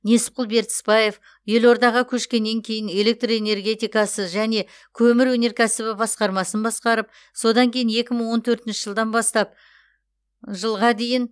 несіпқұл бертісбаев елордаға көшкеннен кейін электр энергетикасы және көмір өнеркәсібі басқармасын басқарып содан кейін екі мың он төртінші жылдан бастап жылға дейін